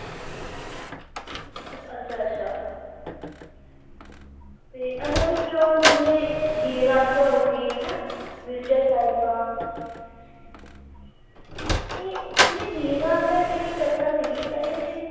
ਅੱਛਾ ਅੱਛਾ ਤੇ ਇਹਨਾਂ ਵਿੱਚੋ ਜਿਵੇ ਹੀਰ ਰਾਂਝਾ ਹੋ ਗਈ ਹੈ ਨਾ ਮਿਰਜ਼ਾ ਸਾਹਿਬਾ ਤੇ ਜਿਵੇ ਹੀਰ ਰਾਂਝਾ ਜਿਹੜੀ ਕਥਾ ਸੀਗੀ ਇਹਦੇ ਵਿਚ